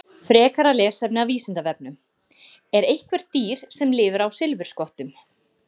Frekara lesefni af Vísindavefnum: Er eitthvert dýr sem lifir á silfurskottum?